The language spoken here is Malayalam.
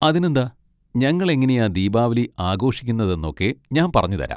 അതിനെന്താ, ഞങ്ങൾ എങ്ങനെയാ ദീപാവലി ആഘോഷിക്കുന്നതെന്നൊക്കെ ഞാൻ പറഞ്ഞുതരാം.